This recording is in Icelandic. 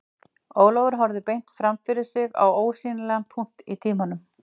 Ólafur horfði beint fram fyrir sig á ósýnilegan punkt í tímanum